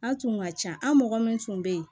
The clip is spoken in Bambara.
A tun ka can an mɔgɔ min tun bɛ yen